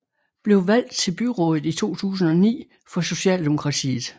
Blev valgt til byrådet i 2009 for socialdemokratiet